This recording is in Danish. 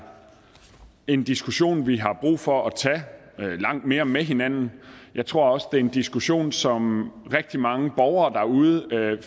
en diskussion vi har brug for at tage langt mere med hinanden jeg tror også det er en diskussion som rigtig mange borgere derude jo